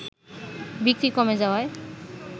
বিক্রি কমে যাওয়ায়